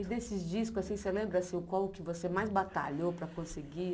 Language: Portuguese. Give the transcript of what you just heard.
E desses discos, assim você lembra assim o qual que você mais batalhou para conseguir?